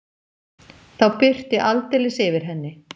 Þá birti aldeilis yfir henni.